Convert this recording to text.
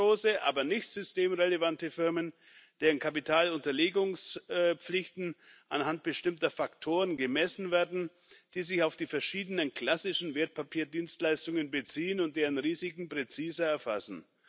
mittelgroße, aber nicht systemrelevante Firmen, deren Kapitalunterlegungspflichten anhand bestimmter Faktoren gemessen werden, die sich auf die verschiedenen klassischen Wertpapierdienstleistungen beziehen und deren Risiken präziser erfassen